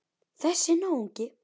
Þessi náungi.